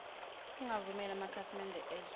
ungavumeli amakhasimede ezwe